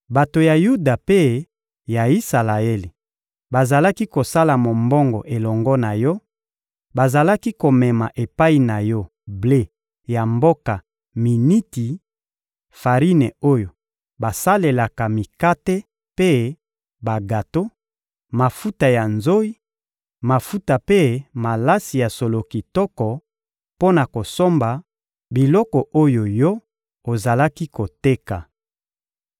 Bato ya Yuda mpe ya Isalaele bazalaki kosala mombongo elongo na yo; bazalaki komema epai na yo ble ya mboka Miniti, farine oyo basalelaka mikate mpe bagato, mafuta ya nzoyi, mafuta mpe malasi ya solo kitoko, mpo na kosomba biloko oyo yo ozalaki koteka.